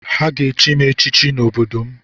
Ha ga-echi m echichi n’obodo m